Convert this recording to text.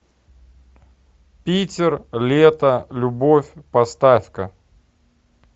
питер лето любовь поставь ка